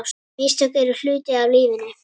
Mistök eru hluti af lífinu.